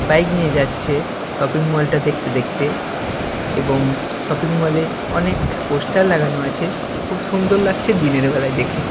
Bike নিয়ে যাচ্ছে shopping mall -টা দেখতে দেখতে এবং শপিং মল -এ অনেক পোস্টার লাগানো আছে খুব সুন্দর লাগছে দিনের বেলায় দেখে।